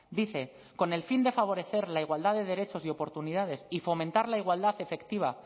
dice con el fin de favorecer la igualdad de derechos y oportunidades y fomentar la igualdad efectiva